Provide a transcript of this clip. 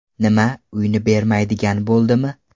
Nima, uyni bermaydigan bo‘ldimi?